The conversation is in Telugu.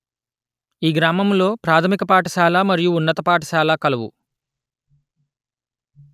ఈ గ్రామము లో ప్రాధమిక పాఠశాల మరియు ఉన్నత పాఠశాల కలవు